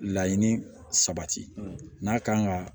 Laɲini sabati n'a kan ka